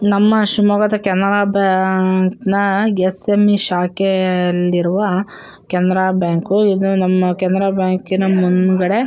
ನಮ್ಮ ಶಿಮೊಗ್ಗ ಕೆನರಾ ಬ್ಯಾಂಕ್ ನ ಎಸ.ಎಂ.ಎ. ಶಾಖೆಯಲ್ಲಿ ಇರುವ ಕೆನರಾ ಬ್ಯಾಂಕು ಇದು ನಮ್ಮ ಕೆನರಾ ಬ್ಯಾಂಕಿನ ಮುಂಗಡೆ--